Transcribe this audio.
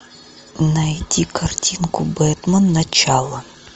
найди картинку бетмен начало